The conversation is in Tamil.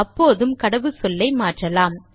அப்போதும் கடவுச்சொல்லை மாற்றலாம்